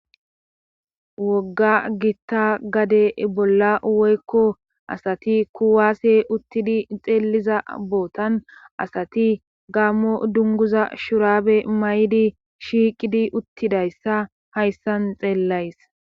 wogga gitta gade bolla woykko asati kuwaase uttidi xeelliza bootan asati gammo dunguza shuraabe mayidi shiiqidi uttidayssa hayssan xeellays